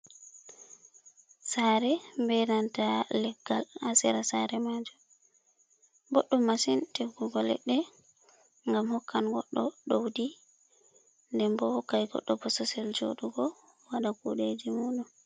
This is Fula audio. Sare be nanta leggal asera sare majum boɗɗum masin tiggugo leɗɗe ngam hokkan goɗɗo ɗowdi denbo hokkan goɗɗo bosesel joɗugo wada kudeji mudum.